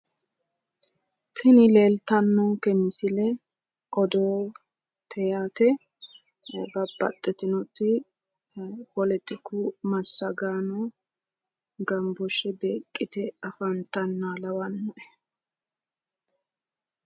Tini leeltannonke misile odoote yaate. babbaxitinoti poletiku massagaano gambooshshe beeqqite afantannoha lawannoe.